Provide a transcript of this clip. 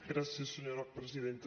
gràcies senyora presidenta